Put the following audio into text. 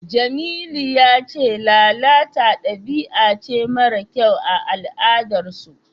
Jamilu ya ce lalata dabi'a ce mara kyau a al'adarsu.